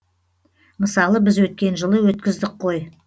мысалы біз өткен жылы өткіздік қой